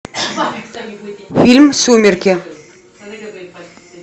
фильм сумерки